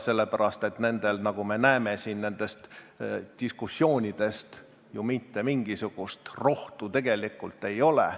Sellepärast et neil, nagu me näeme nendest diskussioonidest siin, ju mitte mingisugust rohtu tegelikult ei ole.